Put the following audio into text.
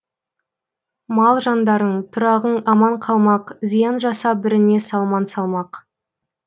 мал жандарың тұрағың аман қалмақ зиян жасап біріңе салман салмақ